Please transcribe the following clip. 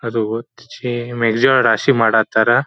ಅದು ಓತ್ ರಾಶಿ ಮಾಡಾತಾರ.